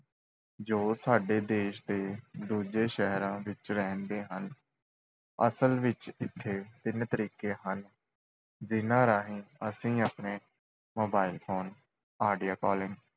ਜੋ ਸਾਡੇ ਦੇਸ਼ ਦੇ ਦੂਜੇ ਸ਼ਹਿਰਾਂ ਵਿੱਚ ਰਹਿੰਦੇ ਹਨ, ਅਸਲ ਵਿੱਚ, ਇੱਥੇ ਤਿੰਨ ਤਰੀਕੇ ਹਨ ਜਿਨ੍ਹਾਂ ਰਾਹੀਂ ਅਸੀਂ ਆਪਣੇ mobile phone, audio calling